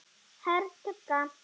Hörð tugga.